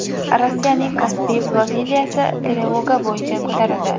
Rossiyaning Kaspiy flotiliyasi trevoga bo‘yicha ko‘tarildi.